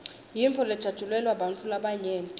yintfo lejatjulelwa bantfu labanyenti